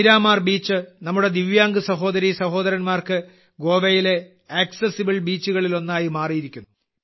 Miramar beach നമ്മുടെ ദിവ്യാംഗ് സഹോദരീസഹോദരന്മാർക്ക് ഗോവയിലെ ആക്സസിബിൾ ബീച്ചുകളിൽ ഒന്നായി മാറിയിരിക്കുന്നു